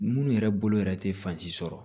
Munnu yɛrɛ bolo yɛrɛ tɛ fansi sɔrɔ